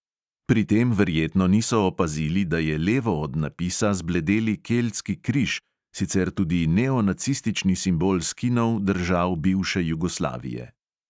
Pri tem verjetno niso opazili, da je levo od napisa zbledeli keltski križ, sicer tudi neonacistični simbol skinov držav bivše jugoslavije.